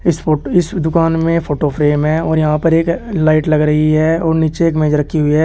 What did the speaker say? इस फोट इस दुकान में फोटो फ्रेम है और यहां पर एक लाइट लग रही है और नीचे एक मेज रखी हुई है।